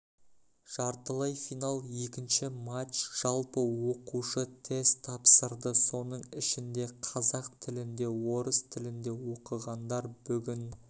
жартылай финал екінші матч жалпы оқушы тест тапсырды соның ішінде қазақ тілінде орыс тілінде оқығандар бүгін